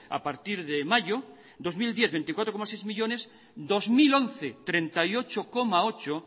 a partir de mayo dos mil diez veinticuatro coma seis millónes dos mil once treinta y ocho coma ocho